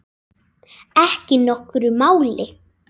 Ekki nokkru máli.